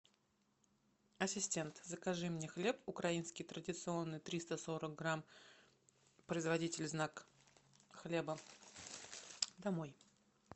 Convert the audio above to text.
ассистент закажи мне хлеб украинский традиционный триста сорок грамм производитель знак хлеба домой